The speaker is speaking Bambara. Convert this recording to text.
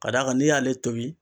Ka d'a kan n'i y'ale tobi